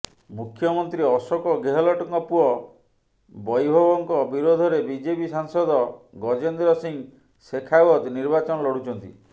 ମୁଖ୍ୟମନ୍ତ୍ରୀ ଅଶୋକ ଗେହଲଟଙ୍କ ପୁଅ ବୈଭବଙ୍କ ବିରୋଧରେ ବିଜେପି ସାଂସଦ ଗଜେନ୍ଦ୍ର ସିଂହ ଶେଖାୱତ ନିର୍ବାଚନ ଲଢ଼ୁଛନ୍ତି